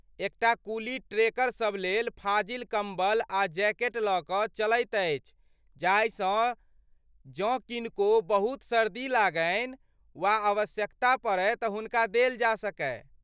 एक टा कुली ट्रेकर सभ लेल फाजिल कम्बल आ जैकेट लऽ कऽ चलैत अछि जाहिसँ जँ किनको बहुत सर्दी लगनि वा आवश्यकता पड़य तँ हुनका देल जा सकय।